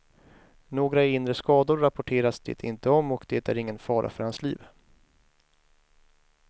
Några inre skador rapporteras det inte om, och det är ingen fara för hans liv.